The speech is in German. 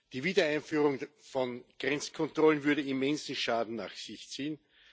Die Wiedereinführung von Grenzkontrollen würde immensen Schaden nach sich ziehen.